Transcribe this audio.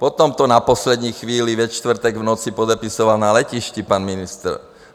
Potom to na poslední chvíli ve čtvrtek v noci podepisoval na letišti pan ministr.